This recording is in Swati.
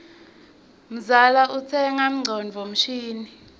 mzala utsenga ngcondvo mshini